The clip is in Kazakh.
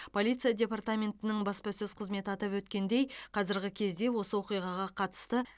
полиция департаментінің баспасөз қызметі атап өткендей қазіргі кезде осы оқиғаға қатысты